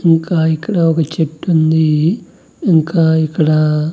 ఇంకా ఇక్కడ ఒక చెట్టుంది ఇంకా ఇక్కడ--